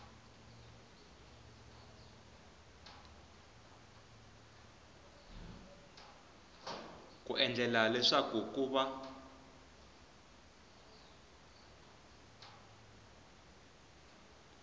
ku endlela leswaku ku va